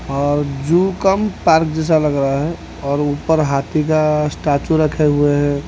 और zoo cum park जैसा लग रहा है और ऊपर हाथी का स्टेचू रखे हुए हैं।